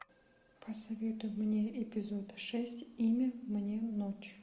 посоветуй мне эпизод шесть имя мне ночь